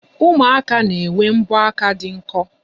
Ụmụaka na-enwe mbọaka dị nkọ.